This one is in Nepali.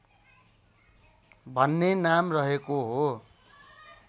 भन्ने नाम रहेको हो